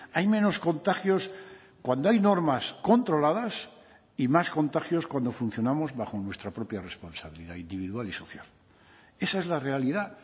hay menos contagios cuando hay normas controladas y más contagios cuando funcionamos bajo nuestra propia responsabilidad individual y social esa es la realidad